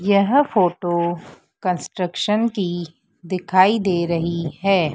यह photo construction की दिखाई दे रही है।